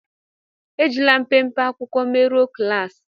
É jilà mpémpé akwụkwọ merụ̀ọ klaasi